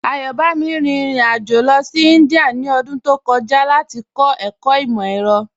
Ayọ̀bámi rín ìrìn-àjọ lọ sí Índíà ní ọdún tó kọ̀jà láti kọ̀ ẹkọ̀ imọ-ẹ̀rọ̀.